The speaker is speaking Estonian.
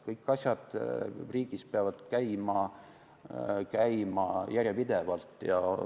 Kõik asjad riigis peavad käima järjepidevalt.